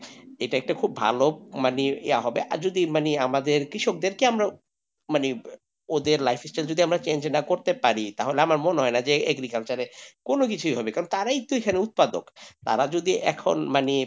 এটা একটা খুব ভালো মানে, ইয়ে হবে, আর যদি মানে আমাদের কৃষকদেরকে আমার মানে ওদের lifestyle টা যদি change করতে পারি তাহলে আমার মনে হয় না যে agriculture এ কোন কিছু হবে তারাই তো এখানে উৎপাদক তারা যদি এখন মানে,